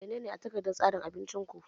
Menene a takardar tsarin abincin ku?